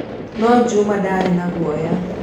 No Juma ndaarĩ na guoya.